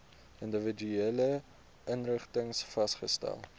individuele inrigtings vasgestel